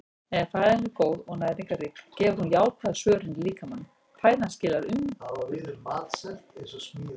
Ef fæðan er góð og næringarrík gefur hún jákvæða svörun í líkamanum- fæðan skilar umbun.